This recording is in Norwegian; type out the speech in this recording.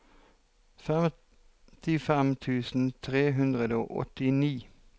femtifem tusen tre hundre og åttini